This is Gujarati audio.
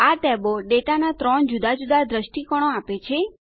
આ ટેબો ડેટાના 3 જુદા જુદા દષ્ટિકોણો આપે છે